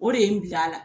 O de ye n bila a la